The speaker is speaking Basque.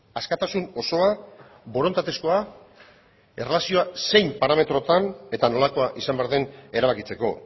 askatasun osoa borondatezkoa erlazioa zein parametrotan eta nolakoa izan behar den erabakitzeko